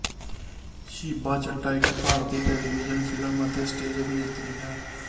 ਸ਼ੀਬਾ ਚੱਡਾ ਇੱਕ ਭਾਰਤੀ television film ਅਤੇ ਸਟੇਜ਼ ਅਭਿਨੇਤਰੀ ਹੈ